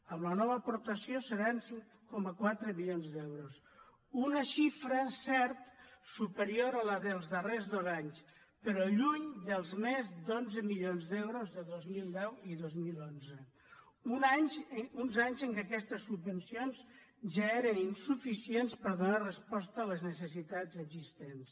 amb la nova aportació seran cinc coma quatre milions d’euros una xifra és cert superior a la dels darrers dos anys però lluny dels més d’onze milions d’euros de dos mil deu i dos mil onze uns anys en què aquests subvencions ja eren insuficients per donar resposta a les necessitats existents